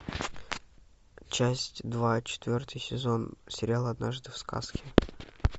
часть два четвертый сезон сериал однажды в сказке